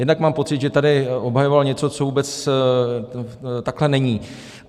Jednak mám pocit, že tady obhajoval něco, co vůbec takhle není.